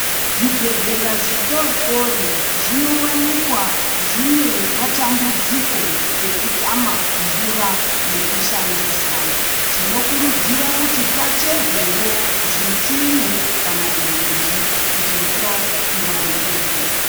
Zvibhedhlera zvidodori zvinowanika zvine matambudziko ekutama mvura yekushandisa. Tinokurudzira kuti pacherwewo zvitsime kana mugodhi kuti mvura iwanikwepo.